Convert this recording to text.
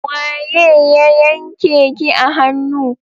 Waye ya yanke ki a hannu?